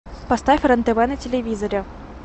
поставь рен тв на телевизоре